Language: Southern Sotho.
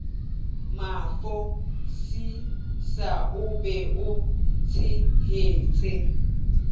mafosisa o be o tshehetse